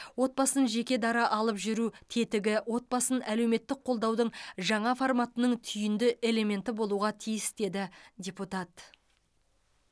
отбасын жекедара алып жүру тетігі отбасын әлеуметтік қолдаудың жаңа форматының түйінді элементі болуға тиіс деді депутат